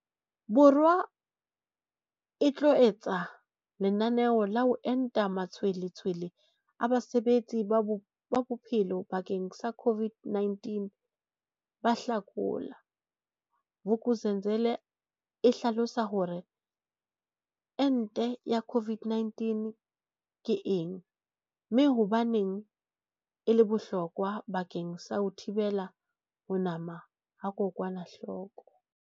Bo rwa e tlo etsa lenane la ho enta matshwele tshwele a basebetsi ba bophelo bakeng sa COVID-19 ka Hlakola, Vuk'uzenzele e hlalosa hore ente ya COVID-19 ke eng, mme hobaneng e le bohlokwa bakeng sa ho thibela ho nama ha kokwanahloko.